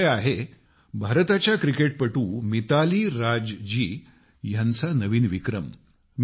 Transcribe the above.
हा विषय आहे भारताच्या क्रिकेटर मिताली राज जी ह्यांचा नवीन विक्रम